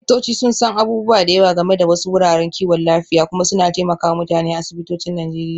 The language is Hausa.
Likitoci sun san abubuwa da yawa game da wasu wuraren kiwon lafiya kuma suna taimaka wa mutane a asibitocin Najeriya.